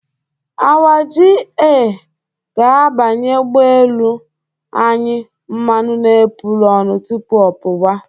Our ga-agbanye ụgbọelu anyị mmanụ n'epurọnụ tupu ọ pụwa.